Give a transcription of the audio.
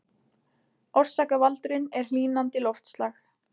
Orsakavaldurinn er hlýnandi loftslag